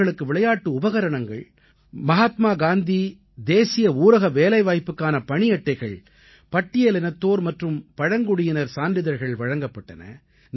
அவர்களுக்கு விளையாட்டு உபகரணங்கள் மஹாத்மா காந்தி தேசிய ஊரக வேலைவாய்ப்புக்கான பணியட்டைகள் பட்டியலினத்தோர் மற்றும் பழங்குடியினர் சான்றிதழ்கள் வழங்கப்பட்டன